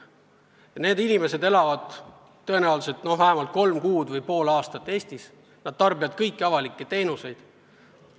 Ja need inimesed elavad tõenäoliselt vähemalt kolm kuud või pool aastat Eestis ja nad kasutavad kõiki avalikke teenuseid.